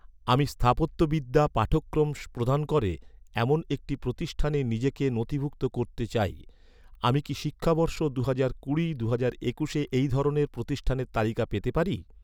আমি স্থাপত্যবিদ্যা পাঠ্যক্রম প্রদান করে, এমন একটি প্রতিষ্ঠানে নিজেকে নথিভুক্ত করতে চাই। আমি কি শিক্ষাবর্ষ দুহাজার কুড়ি দুহাজার একুশে এই ধরনের প্রতিষ্ঠানের তালিকা পেতে পারি?